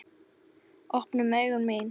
Opnuðu augu mín.